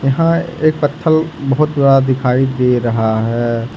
यहां एक पत्थल बहुत दिखाई दे रहा है।